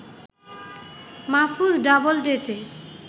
Mahfuz ডাবলডেতে